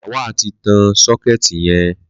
Lawal ti tán sọkẹti yẹn